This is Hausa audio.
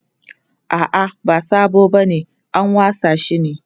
a'a ba sabo bane an wasa shi ne